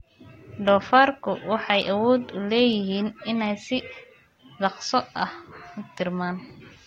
Doofaarku waxay awood u leeyihiin inay si dhakhso ah u tarmaan.